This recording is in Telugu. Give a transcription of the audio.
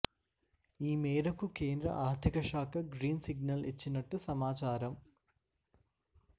ఈ మేరకు కేంద్ర ఆర్థిక శాఖ గ్రీన్ సిగ్నల్ ఇచ్చినట్టు సమాచారం